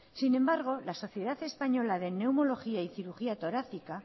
sin embargo la sociedad española de neumología y cirugía torácica